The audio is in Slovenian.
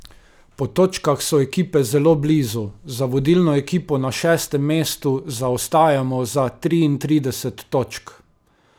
Po točkah so ekipe zelo blizu, za vodilno ekipo na šestem mestu zaostajamo za triintrideset točk.